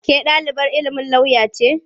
Ke ɗalibar ilimin lauya ce?